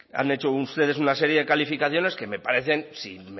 han hecho ustedes una serie de calificaciones que me parecen si me